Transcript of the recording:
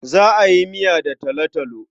Za a yi miya da talotalo.